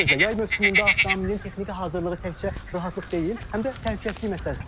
Bir sözlə, yay mövsümündə avtomobilin texniki hazırlığı təkcə rahatlıq deyil, həm də təhlükəsizlik məsələsidir.